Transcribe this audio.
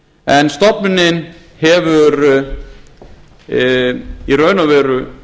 en stofnunin hefur í raun og veru